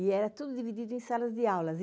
E era tudo dividido em salas de aulas.